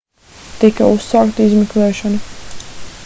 tika uzsākta izmeklēšana